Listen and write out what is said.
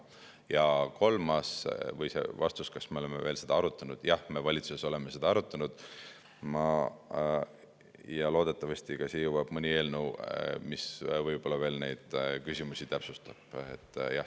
Ja see vastus küsimusele, kas me oleme seda arutanud: jah, me valitsuses oleme seda arutanud ja loodetavasti ka siia jõuab mõni eelnõu, mis veel neid küsimusi täpsustab.